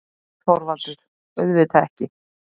ÞORVALDUR: Auðvitað ekki!